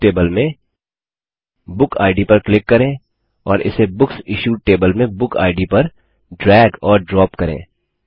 अब books table में book ID पर क्लिक करें और इसे बुक्स इश्यूड टेबल में बुक इद पर ड्रैग और ड्रॉप करें